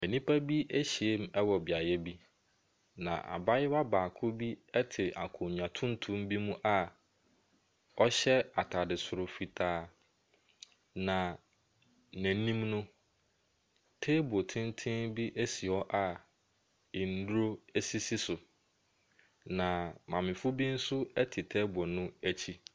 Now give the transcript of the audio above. Nnipa bi ahyiam wɔ beaeɛ bi, na abayewa baako bi te akonnwa tuntum bi mu awahyɛ atade soro fitaa, na n'anim no, table tenten bi si hɔ a nnuro sisi so, na mmamefoɔ bi nso te table no akyi.